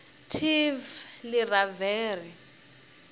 tivleravhere